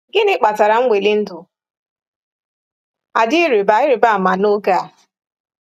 Gịnị kpatara nweli ndụ a dị ịrịba ịrịba ama n’oge a?